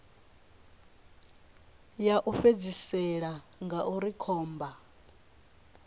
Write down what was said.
ya u fhedzisela ngauri khomba